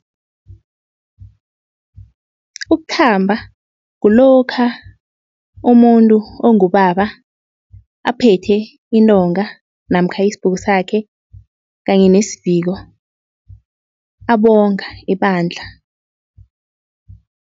Ukuthamba kulokha umuntu ongubaba aphethe intonga namkha isibhuku sakhe kanye nesiviko abonga ebandla.